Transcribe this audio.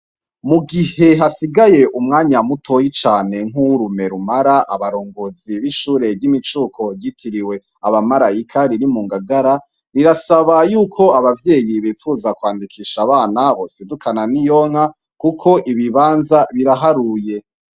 Mugihe hasigaye umwanya muto cane nkuwo urume rumara abarongozi b'ishure ryimumicuko ryitiriwe Abamarayika riri mungagara basaba ko abavyeyi bonyaruka kwandikisha abana babo kuko ibibanza biraharuye.